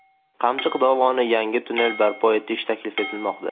Qamchiq dovonida yangi tunnel barpo etish taklif etilmoqda.